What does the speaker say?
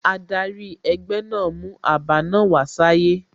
Adari egbe naa mu aba naa wa saye